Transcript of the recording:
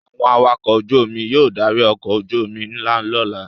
Àwọn awakọ̀ ojú-omi yóò darí ọkọ̀ ojú-omi ńlá lọ́la.